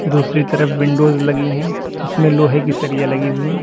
दूसरी तरफ विंडोज लगी हैं जीसमें लोहे की सरिया लगी हुई हैं।